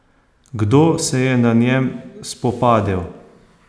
Kdo se je na njem spopadel?